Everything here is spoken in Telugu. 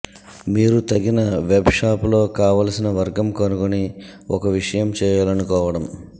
మీరు తగిన వెబ్ షాప్ లో కావలసిన వర్గం కనుగొని ఒక విషయం చేయాలనుకోవడం